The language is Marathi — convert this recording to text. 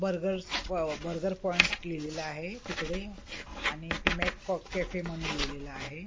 बर्गर्स बर्गर पॉईंट लिहिलेला आहे तिकडे आणि इथे मेक कॅफे म्हणून लिहिलेलं आहे.